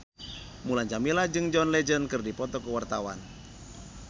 Mulan Jameela jeung John Legend keur dipoto ku wartawan